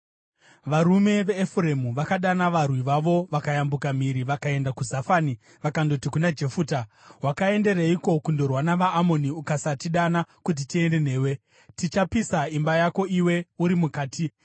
Varume veEfuremu vakadana varwi vavo, vakayambuka mhiri vakaenda kuZafani vakandoti kuna Jefuta, “Wakaendereiko kundorwa navaAmoni ukasatidana kuti tiende newe? Tichapisa imba yako iwe uri mukati.”